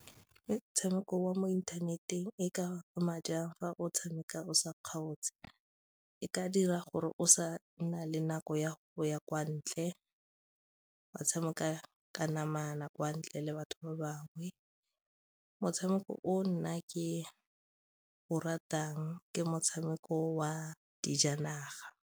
Ke motshameko wa mo inthaneteng e ka ama jang fa o tshameka o sa kgaotse? E ka dira gore o sa nna le nako ya ya kwa ntle ba tshameka ka namana kwa ntle le batho ba bangwe, motshameko o nna ke o ratang ke motshameko wa dijanaga.